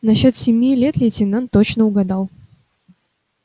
насчёт семи лет лейтенант точно угадал